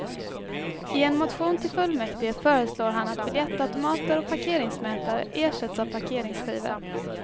I en motion till fullmäktige föreslår han att biljettautomater och parkeringsmätare ersätts av parkeringsskivor.